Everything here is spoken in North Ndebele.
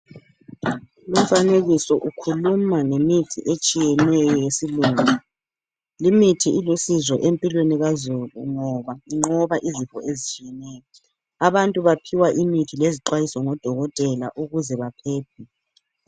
Lumfanekiso ukhuluma ngemithi etshiyeneyo yesilungu. Limithi ilusizo empilweni kazulu ngoba inqoba izifo ezitshiyeneyo. Abantu baphiwa imithi lezixwayiso ngodokotela ukuze baphephe.